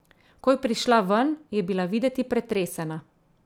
Ko je prišla ven, je bila videti pretresena.